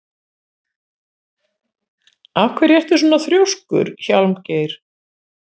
Af hverju ertu svona þrjóskur, Hjálmgeir?